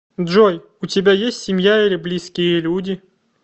джой у тебя есть семья или близкие люди